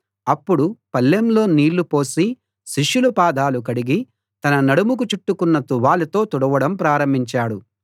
అప్పుడు పళ్ళెంలో నీళ్ళు పోసి శిష్యుల పాదాలు కడిగి తన నడుముకు చుట్టుకున్న తువాలుతో తుడవడం ప్రారంభించాడు